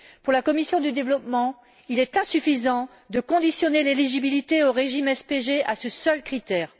Pour la commission du développement, il est insuffisant de conditionner l'éligibilité au régime SPG à ce seul critère.